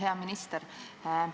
Hea minister!